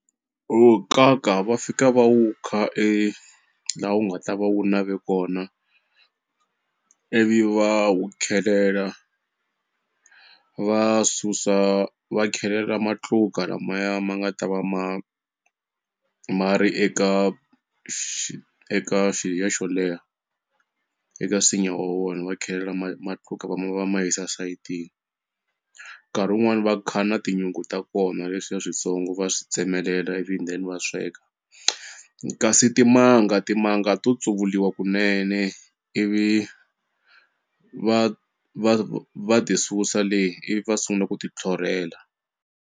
U nkaka va fika va wu kha e la wu nga ta va wu nave kona ivi va wu khelela va susa va khelela matluka lamaya ma nga ta va ma ma ri eka xi eka lexiya xo leha eka nsinya wa wona va khelela ma matluka va ma va ma yisa sayitini nkarhi wun'wani va kha na tinyungu ta kona leswiya switsongo va swi tsemelela ivi ndeni va sweka kasi timanga timanga to tsuvuliwa kunene ivi va va va ti susa le ivi va sungula ku ti tlhorhela.